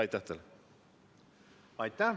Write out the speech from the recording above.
Aitäh teile!